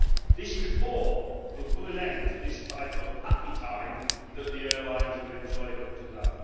This report will put an end to this type of happy time' that the airlines have enjoyed up to now.